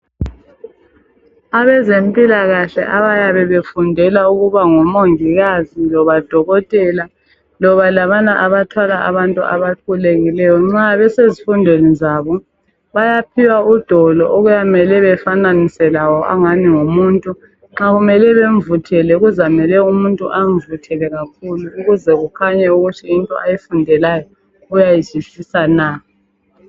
Abazempilakahle abayabe befundela ukuba ngoMongikazi lobaDokotela loba labana abathwala abantu abaqulekileyo nxa besezifundweni zabo bayaphiwa udoli okuyabe kumele befananise lawo okungani ngumuntu, nxa kumele bemvuthele kakhulu ukuze kukhanye ukuthi into ayifundelayo uyayizwisisa na.